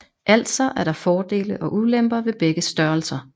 Altså er der fordele og ulemper ved begge størrelser